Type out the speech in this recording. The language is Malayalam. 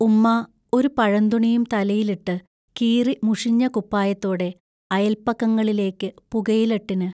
ഉമ്മാ ഒരു പഴന്തുണിയും തലയിലിട്ട് കീറി മുഷിഞ്ഞ കുപ്പായത്തോടെ അയൽപക്കങ്ങളിലേക്ക് പുകയിലട്ടിനു